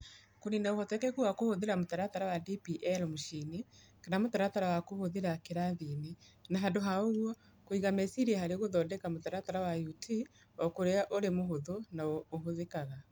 Kũniina ũhotekeku wa kũhũthĩra mũtaratara wa DPL mũciĩ-inĩ kana mũtaratara wa kũhũthĩra kĩrathi-inĩ, na handũ ha ũguo kũiga meciria harĩ gũthondeka mũtaratara wa UT ũkorũo ũrĩ mũhũthũ na ũhũthĩkaga.